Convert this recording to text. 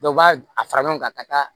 Dɔw b'a a fara ɲɔgɔn kan ka taa